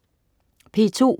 P2: